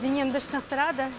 денемді шынықтырады